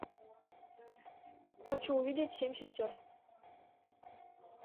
хочу увидеть семь сестер